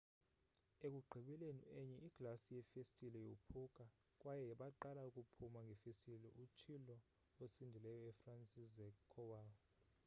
ekugqibeleni enye iglasi yefestile yophuka kwaye baqala ukuphuma ngefestile utshilo osindileyo ufranciszek kowal